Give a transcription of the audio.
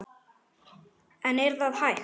En er það hægt?